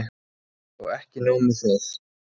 Og ekki nóg með það